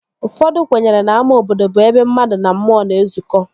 Ụfọdụ kwenyere na ama obodo bụ ebe mmadụ na mmụọ na-ezuko